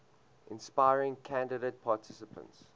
inspiring candidate participants